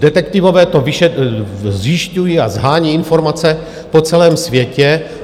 Detektivové to zjišťují a shání informace po celém světě.